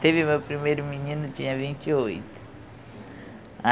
Teve meu primeiro menino, tinha vinte e oito.